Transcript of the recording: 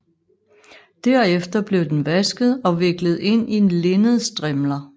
Derefter blev den vasket og viklet ind i linnedstrimler